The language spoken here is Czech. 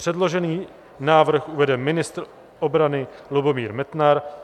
Předložený návrh uvede ministr obrany Lubomír Metnar.